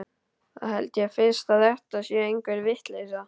Þá held ég fyrst að þetta sé einhver vitleysa.